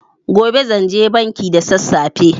Gobe zanje banki da sassafe.